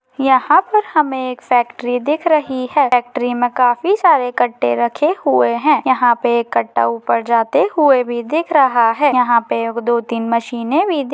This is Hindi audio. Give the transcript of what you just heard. यहा पर हमे एक फ़ैक्टरि दिख रही है फ़ैक्टरि मे काफी सारे कट्टे रखे हुए है यहा पे एक कट्टा उपर जाते हुए भी दिख रहा है यहा पे एक दो तिने मशिने भी दि--